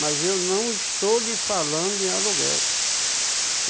Mas eu não estou lhe falando em aluguel.